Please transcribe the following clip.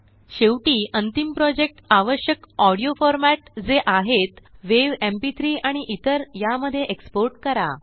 शेवटी अंतिम प्रोजेक्ट आवश्यक ऑडीओ फॉरमॅट जे आहेत वेव्ह एमपी3 आणि इतरया मध्ये एक्सपोर्ट करा